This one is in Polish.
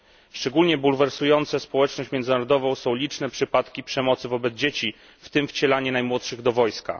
Szczególnie bulwersujące społeczność międzynarodową są liczne przypadki przemocy wobec dzieci, w tym wcielanie najmłodszych do wojska.